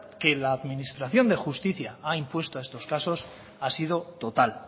que la administración de justicia ha impuesto estos casos ha sido total